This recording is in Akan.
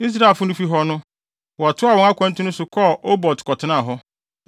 Israelfo no fi hɔ no, wɔtoaa wɔn akwantu no so kɔɔ Obot kɔtenaa hɔ.